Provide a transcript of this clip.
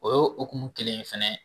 O y'o hokumu kelen ye fɛnɛ